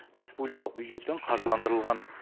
республикалық бюджеттен қаржыландырылған